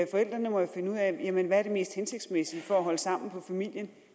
forældrene må jo finde ud af hvad der er det mest hensigtsmæssige for at holde sammen på familien